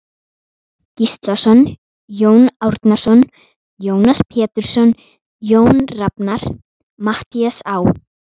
Gíslason, Jón Árnason, Jónas Pétursson, Jónas Rafnar, Matthías Á.